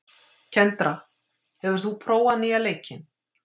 Kendra, hefur þú prófað nýja leikinn?